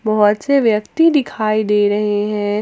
बहुत से व्यक्ति दिखाई दे रहे हैं।